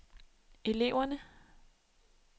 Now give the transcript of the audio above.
eleverne